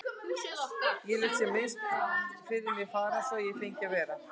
Ég lét sem minnst fyrir mér fara svo að ég fengi að vera.